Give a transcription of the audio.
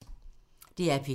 DR P2